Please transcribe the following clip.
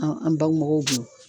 An an bangebaw kun